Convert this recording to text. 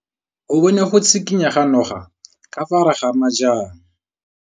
O bone go tshikinya ga noga ka fa gare ga majang.